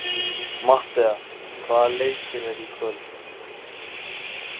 Matthea, hvaða leikir eru í kvöld?